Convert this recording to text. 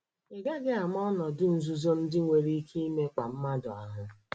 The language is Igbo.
Ị gaghị ama ọnọdụ nzuzo ndị nwere ike imekpa mmadụ ahụ.